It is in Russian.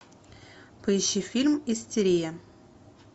поищи фильм истерия